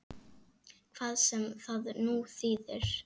Hvað sem það nú þýðir!